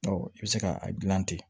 i bɛ se ka a dilan ten